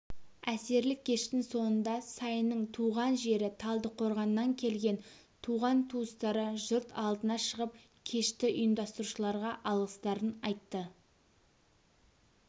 әсерлі кештің соңында сайынның туған жері талдықорғаннан келген туған-туыстары жұрт алдына шығып кешті ұйымастырушыларға алғыстарын айтты